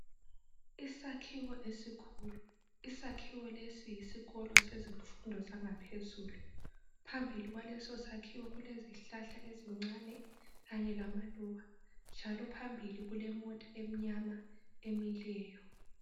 Isakhiwo esikhulu, isakhiwo lesi yisikolo sezifundo zangaphezulu phambili kwaleso sakhiwo kulezihlahla ezincane kanye lamaluba njalo phambili kulemota emnyama emileyo.